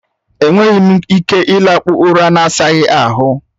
E nweghị m ike ịlakpụ ụra na-asaghị ahụ.